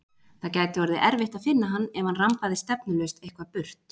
Það gæti orðið erfitt að finna hann ef hann rambaði stefnulaust eitthvað burt.